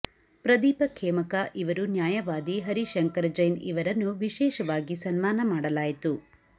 ಪ್ರದೀಪ ಖೇಮಕಾ ಇವರು ನ್ಯಾಯವಾದಿ ಹರಿ ಶಂಕರ ಜೈನ್ ಇವರನ್ನು ವಿಶೇಷವಾಗಿ ಸನ್ಮಾನ ಮಾಡಲಾಯಿತು